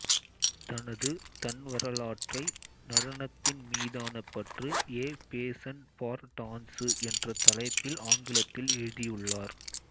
தனது தன்வரலாற்றை நடனத்தின் மீதான பற்று எ பேசன் பார் டான்சு என்ற தலைப்பில் ஆங்கிலத்தில் எழுதியுள்ளார்